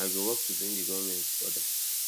i go work to bring di goment to order